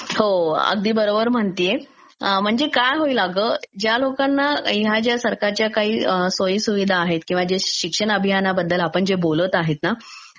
हो अगदी बरोबर म्हणतेय, म्हणजे काय होईल अगं ज्या लोकांना ह्या ज्या सरकारच्या काही सोयी-सुविधा आहेत किंवा जे शिक्षण अभियानाबदेदल ापण जे बोलत आहे ना